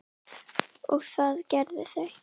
og það gerðu þau.